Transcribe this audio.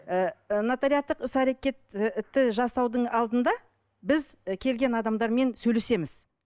ыыы нотариаттық іс әрекет і жасаудың алдында біз і келген адамдармен сөйлесеміз